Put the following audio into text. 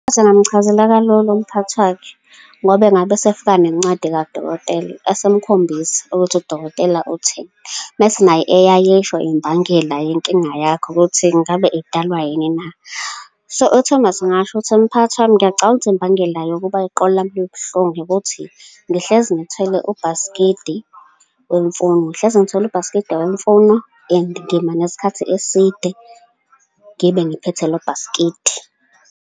Amchazela kalula umphathi wakhe, ngoba engabe esefika nencwadi kadokotela, esemkhombisa ukuthi udokotela utheni, mese naye eyayesho imbangela yenkinga yakhe, ukuthi ngabe idalwa yini na? So, uThomas angasho ukuthi, mphakathi wami, ngiyacabanga ukuthi imbangela yokuba iqolo lami ihlale libuhlungu ukuthi ngihlezi ngithwele ubhaskidi wemfuno, ngihlezi ngithwele ubhaskidi wemfuno, and ngima neskhathi eside ngibe ngiphethe lo bhaskidi.